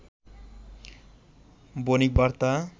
Bonik Barta